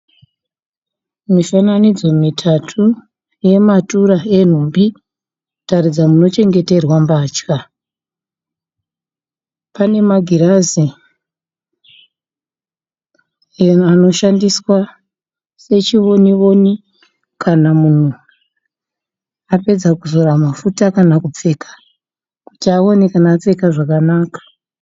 Mifananidzo mitatu yematura enhumbi, kutaridza munochengeterwa mbatya. Pane magirazi anoshandiswa sechionioni kana munhu apedza kuzora mafuta kana kupfeka, kuti aone kana apfeka zvakanaka.